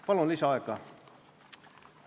Palun lisaaega!